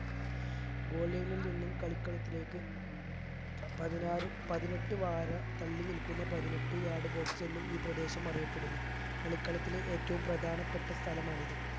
goal line ഇത് നിന്നും കളിക്കളത്തിലേക്ക് പതിനാറ് പതിനെട്ട് വാര തള്ളിനിൽക്കുന്ന പതിനെട്ട് yard box എന്നും ഈ പ്രദേശം അറിയപ്പെടുന്നു കളിക്കളത്തിലെ ഏറ്റവും പ്രധാനപ്പെട്ട സ്ഥലമാണിത്